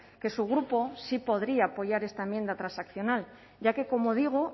que su grupo sí podría apoyar esta enmienda transaccional ya que como digo